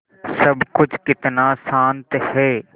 सब कुछ कितना शान्त है